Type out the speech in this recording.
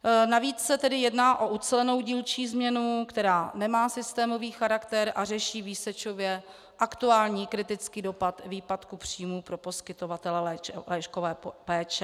Navíc se tedy jedná o ucelenou dílčí změnu, která nemá systémový charakter a řeší výsečově aktuální kritický dopad výpadku příjmů pro poskytovatele lůžkové péče.